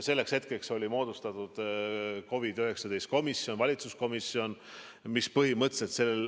Selleks hetkeks oli moodustatud COVID-19 valitsuskomisjon.